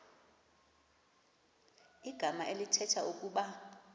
igama elithetha ukuba